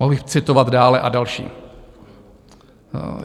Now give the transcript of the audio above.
Mohl bych citovat dále a další.